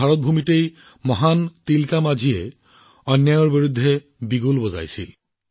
ভাৰতৰ এই ভূমিতেই মহান তিলকা মাঞ্জীয়ে অন্যায়ৰ বিৰুদ্ধে ৰণশিঙা বজাইছিল